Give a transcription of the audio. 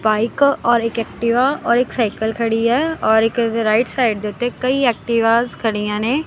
Bike ਔਰ ਇੱਕ Activa ਔਰ ਇੱਕ ਸਾਈਕਲ ਖੜੀ ਹੈ ਔਰ ਇੱਕ ਇਸਦੇ ਰਾਇਟ ਸਾਈਡ ਦੇ ਓੱਤੇ ਕਈ ਐਕਟਿਵਾਸ ਖੜੀਆਂ ਨੇਂ।